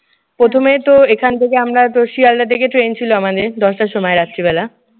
প্রথমে তোর এইখান থেকে আমরাতো শিয়ালদাহ থেকে ট্রেন ছিল আমাদের দশটার সময় রাত্রিবেলা।